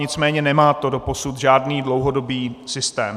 Nicméně nemá to doposud žádný dlouhodobý systém.